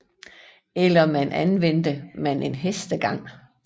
Eller man anvendte man en hestegang